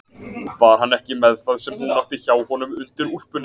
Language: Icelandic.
Var hann ekki með það sem hún átti hjá honum undir úlpunni?